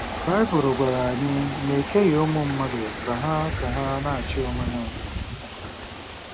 Baịbụl gwara anyị na e keghị ụmụ mmadụ ka ha ka ha na-achị onwe ha.